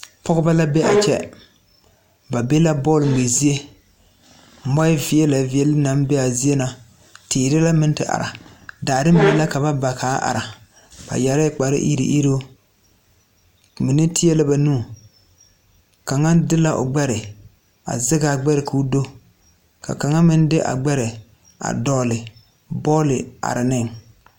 Pɔgebɔ la be a kyɛ ba be la bɔl ngmɛ zie mɔɛ veɛlɛ veɛle naŋ be aa zie na teere la meŋ te ara daare la mine ka ba ba kaa are are ba yɛrɛɛ kpare iruŋ iruŋ mine teɛ la ba nu kaŋa de la o gbɛre a zegaa gbɛre koo do ka kaŋa meŋ a dɔgle bɔɔle are neŋ.